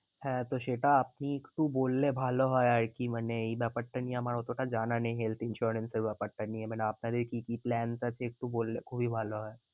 হ্যাঁ তো সেটা আপনি একটু বললে ভালো হয় আর কি। মানে এই ব্যাপারটা নিয়ে আমার অতটা জানা নেই health insurance এর ব্যাপারটা নিয়ে। মানে আপনাদের কি কি plans আছে একটু বললে খুবই ভালো হয়।